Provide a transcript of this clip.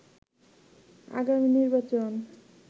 আগামী নির্বাচন